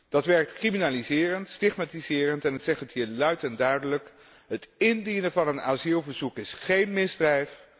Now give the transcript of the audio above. Dat werkt criminaliserend, stigmatiserend en, ik zeg hier luid en duidelijk, het indienen van een asielverzoek is geen misdrijf.